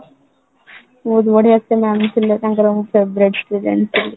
ବହୁତ ବଢିଆ ସେ mam ଥିଲେ ତାଙ୍କର ମୁଁ favourite student ଥିଲି